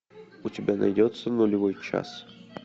у тебя найдется нулевой час